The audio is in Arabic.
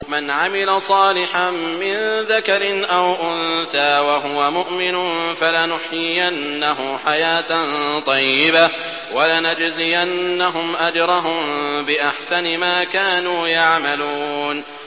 مَنْ عَمِلَ صَالِحًا مِّن ذَكَرٍ أَوْ أُنثَىٰ وَهُوَ مُؤْمِنٌ فَلَنُحْيِيَنَّهُ حَيَاةً طَيِّبَةً ۖ وَلَنَجْزِيَنَّهُمْ أَجْرَهُم بِأَحْسَنِ مَا كَانُوا يَعْمَلُونَ